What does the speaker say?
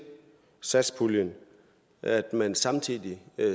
satspuljen at man samtidig